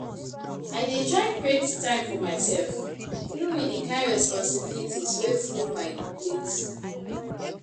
I dey try create time for myself even wit di kain responsibilities wey full my plate.